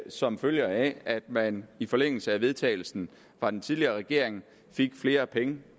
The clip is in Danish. som følger af at man i forlængelse af vedtagelsen fra den tidligere regering fik flere penge